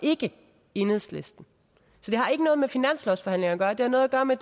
og ikke enhedslisten så det har ikke noget med finanslovsforhandlinger at gøre det har noget at gøre med